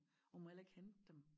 Og hun må heller ikke hente dem